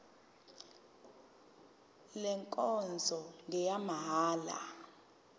le nkonzo ngeyamahala